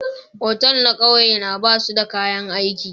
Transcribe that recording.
otal na kauye na ba su da kayan aiki.